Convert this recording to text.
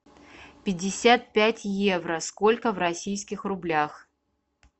пятьдесят пять евро сколько в российских рублях